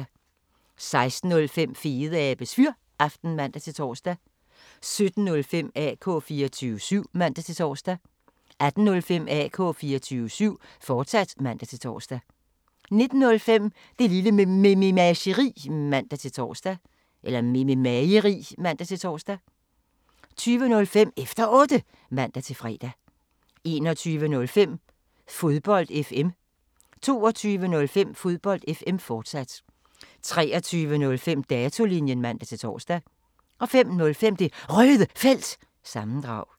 16:05: Fedeabes Fyraften (man-tor) 17:05: AK 24syv (man-tor) 18:05: AK 24syv, fortsat (man-tor) 19:05: Det Lille Mememageri (man-tor) 20:05: Efter Otte (man-fre) 21:05: Fodbold FM 22:05: Fodbold FM, fortsat 23:05: Datolinjen (man-tor) 05:05: Det Røde Felt – sammendrag